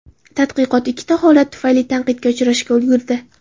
Tadqiqot ikkita holat tufayli tanqidga uchrashga ulgurdi.